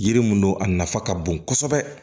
Yiri mun don a nafa ka bon kosɛbɛ